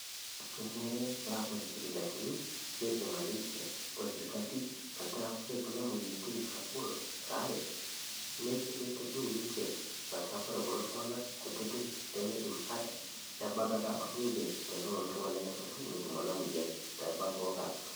Kenare paa kore sipitalini, neibung'a ninche o serkali metaa kore kuna moyaritin naagol elaare neitodou ninche metaa kore kulo tung'ana kutiti lemeidim ate nebaiki ake abak ninche tenelo ltung'ani nenyamalu netum ena moyian.